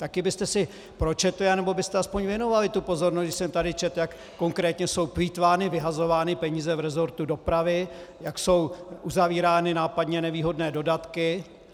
Také byste si pročetli nebo byste aspoň věnovali tu pozornost, když jsem tady četl, jak konkrétně jsou plýtvány, vyhazovány peníze v resortu dopravy, jak jsou uzavírány nápadně nevýhodné dodatky.